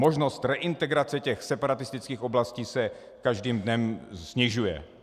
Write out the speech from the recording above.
Možnost reintegrace těch separatistických oblastí se každým dnem snižuje.